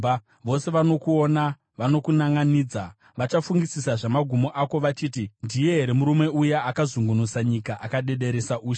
Vose vanokuona vanokunanʼanidza, vachafungisisa zvamagumo ako vachiti, “Ndiye here murume uya akazungunutsa nyika, akadederesa ushe,